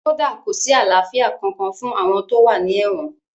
Kódà kò sí àlàáfíà kankan fún àwọn tó wà ní èwọ̀n